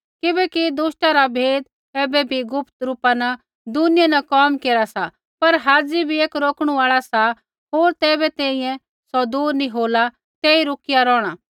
किबैकि दुष्टा रा भेद ऐबै भी गुप्त रूपा न दुनिया न कोम केरा सा पर हाज़ी भी एक रोकणु आल़ा सा होर ज़ैबै तैंईंयैं सौ दूर नी होला तेई रोकिया रौहणा